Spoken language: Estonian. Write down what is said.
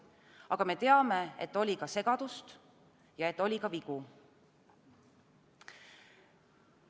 Aga me teame, et oli ka segadust ja oli ka vigu.